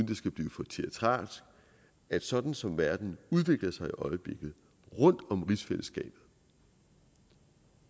det skal blive for teatralsk at sådan som verden udvikler sig i øjeblikket rundt om rigsfællesskabet